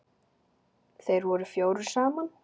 Þeir voru fjórir saman.